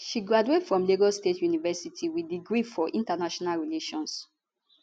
she graduate from lagos state university wit degree for international relations